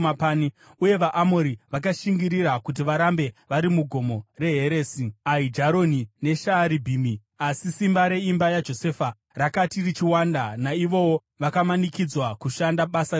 Uye vaAmori vakashingirira kuti varambe vari muGomo reHeresi, Aijaroni neShaaribhimi, asi simba reimba yaJosefa rakati richiwanda, naivowo vakamanikidzwa kushanda basa rechibharo.